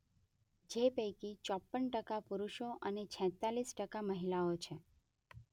જે પૈકી ચોપન ટકા પુરુષો અને છેતાલીસ ટકા મહિલાઓ છે.